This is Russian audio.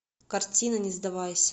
картина не сдавайся